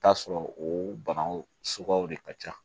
Taa sɔrɔ o bagan suguyaw de ka ca